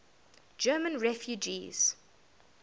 german refugees